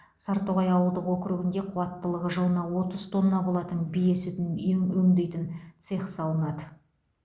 сартоғай ауылдық округінде қуаттылығы жылына отыз тонна болатын бие сүтін өңдейтін цех салынады